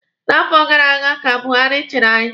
Na afọ gara aga ka Buhari chiri anyị.